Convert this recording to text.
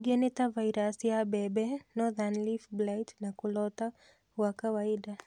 Ĩngĩ nĩta vairasi ya mbembe, Nothern leaf blight na kũlota gwa kawaida